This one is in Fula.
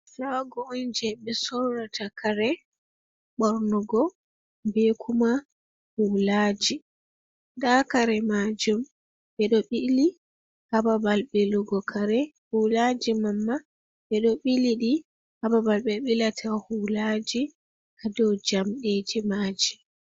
Chago on je ɓe sorrata kare ɓornugo, be kuma hulaji nda kare majum ɓeɗo ɓili ha babal ɓillugo kare, hulaji mamma ɓeɗo ɓili ɗi ha babal ɓe ɓila ta hula ji ha dou jamɗeji maji.